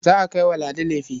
Za a kai wa Ladi lefe.